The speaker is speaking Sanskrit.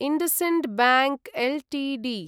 IndusInd bank Ltd